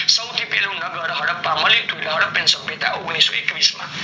સૌથી પેલું નાગલ હદ્દાપા મળ્યું તું સભ્યતા ઓગ્નિસોએક્વિસ માં